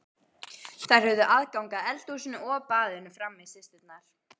Þær höfðu aðgang að eldhúsinu og baðinu frammi, systurnar.